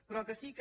però el que sí que